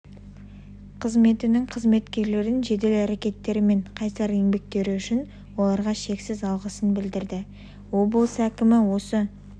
қызметінің қызметкерлерін жедел әрекеттері мен қайсар еңбектері үшін оларға шексіз алғысын білдірді облыс әкімі осы